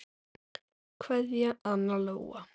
Kveðja, Anna Lóa.